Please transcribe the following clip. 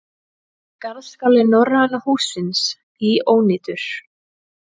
Garðskáli Norræna hússins í ónýtur